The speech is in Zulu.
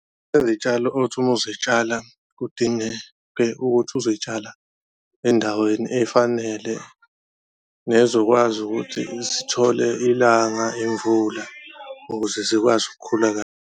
Izitshalo othi uma uzitshala kudinge ukuthi uzoyitshala endaweni efanele nezokwazi ukuthi zithole ilanga, imvula ukuze zikwazi ukukhula kahle.